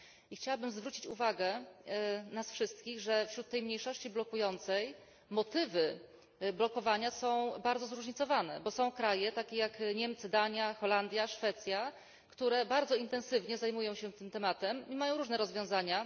Chciałabym zwrócić uwagę nas wszystkich, że wśród tej mniejszości blokującej motywy blokowania są bardzo zróżnicowane, bo są kraje, takie jak Niemcy, Dania, Holandia, Szwecja, które bardzo intensywnie zajmują się tym tematem i mają różne rozwiązania.